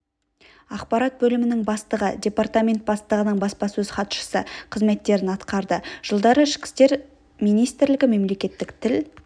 ақпарат бөлімінің бастығы департамент бастығының баспасөз хатшысы қызметтерін атқарды жылдары ішкі істер министрлігі мемлекеттік тіл